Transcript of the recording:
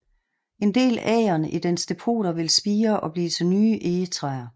En del agern i dens depoter vil spire og blive til nye egetræer